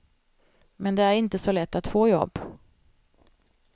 Men det är inte så lätt att få jobb.